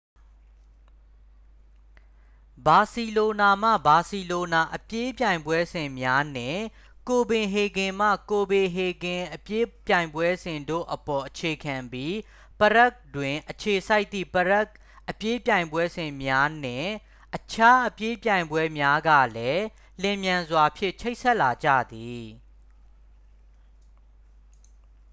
ဘာစီလိုနာမှ ဘာစီလိုနာအပြေးပြိုင်ပွဲစဉ်များ နှင့် ကိုပင်ဟေဂင်မှ ကိုပင်ဟေဂင် အပြေးပြိုင်ပွဲစဉ် တို့အပေါ် အခြေခံပြီး ပရဂ် တွင် အခြေစိုက်သည့် ပရဂ် အပြေးပြိုင်ပွဲစဉ်များ နှင့် အခြားအပြေးပြိုင်ပွဲများကလည်း လျှင်မြန်စွာဖြင့်ချိတ်ဆက်လာကြသည်